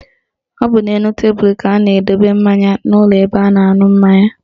Ọ bụ n'elu tebelu ka a na-edobe mmanya n'ụlọ ebe a na-aṅụ mmanya